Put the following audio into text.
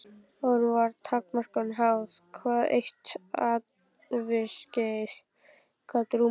Áður var takmörkunum háð hvað eitt æviskeið gat rúmað.